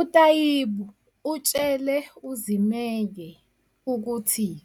UTaibu utshele uZimeye ukuthi-